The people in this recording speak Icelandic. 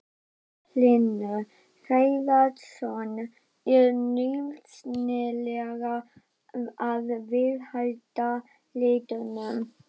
Magnús Hlynur Hreiðarsson: Er nauðsynlegt að viðhalda litunum?